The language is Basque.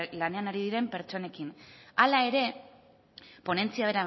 lanean ari diren pertsonekin hala ere ponentzia